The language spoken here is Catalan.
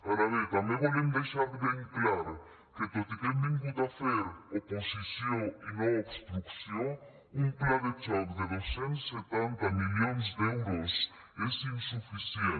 ara bé també volem deixar ben clar que tot i que hem vingut a fer oposició i no obstrucció un pla de xoc de dos cents i setanta milions d’euros és insuficient